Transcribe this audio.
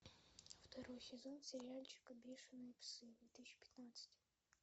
второй сезон сериальчика бешеные псы две тысячи пятнадцать